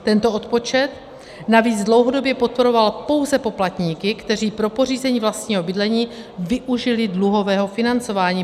Tento odpočet navíc dlouhodobě podporoval pouze poplatníky, kteří pro pořízení vlastního bydlení využili dluhového financování.